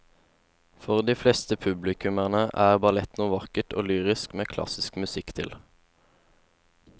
For de fleste publikummere er ballett noe vakkert og lyrisk med klassisk musikk til.